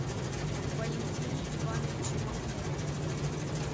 валентине ивановиче махмудове